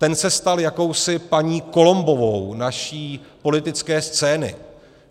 Ten se stal jakousi paní Columbovou naší politické scény.